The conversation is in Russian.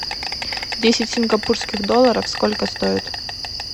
десять сингапурских долларов сколько стоит